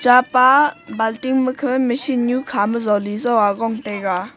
chapa balting makhe machine nyu khama zoli jo aa gong taiga.